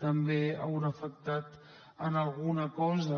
també hi deu haver afectat en alguna cosa